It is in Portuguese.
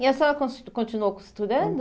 E a senhora cons continuou costurando?